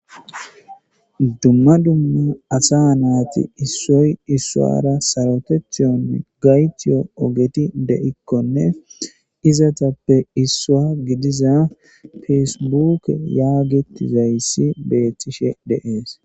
dumma dumma asa naati issoy issuara sarotethiyonne gaytiyo ogeti de7ikkone izatappe issua gidiza fesebuke yaagetizayssi beettishe deees